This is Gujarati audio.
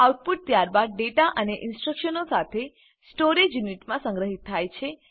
આઉટપુટ ત્યારબાદ ડેટા અને ઇનસ્ટ્રકશનો સાથે સ્ટોરેજ યુનિટમાં સંગ્રહીત થાય છે